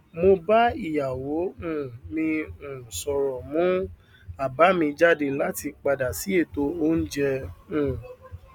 mo bá ìyàwó um mi um sòrò mú àbá mi jáde láti padà sí ètò oúnjẹ um